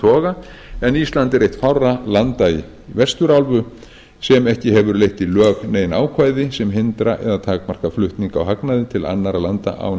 toga en ísland er eitt fárra landa í vesturálfu sem ekki hefur leitt í lög nein ákvæði sem hindra eða takmarka flutning á hagnaði til annarra landa án